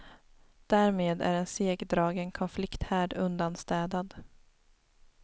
Därmed är en segdragen konflikthärd undanstädad.